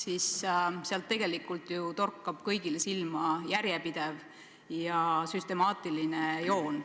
siis neist torkab ju tegelikult kõigile silma üks järjepidev ja süstemaatiline joon.